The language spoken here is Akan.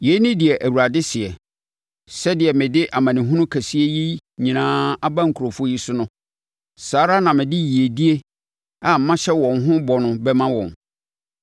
“Yei ne deɛ Awurade seɛ: Sɛdeɛ mede amanehunu kɛseɛ yi nyinaa aba nkurɔfoɔ yi so no, saa ara na mede yiedie a mahyɛ wɔn ho bɔ no bɛma wɔn.